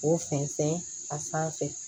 K'o fɛnsɛn a sanfɛ